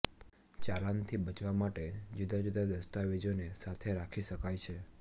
ચાલાનથી બચવા માટે જુદા જુદા દસ્તાવેજોને સાથે રાખી શકાય છે